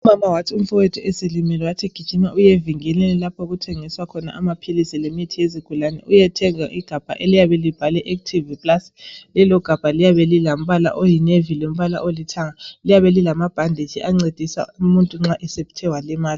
Umama wathi umfowethu eselimele wathi gijima uyevinkilini lapho okuthengiswa khona amaphilisi lemithi yezigulani uyethenga igabha eliyabe libhalwe Active plast. Lelo gabha liyabe lilombala oyi navy lombala olithanga. Liyabe lilama bhandetshi ancedisa umuntu nxa esethe walimala.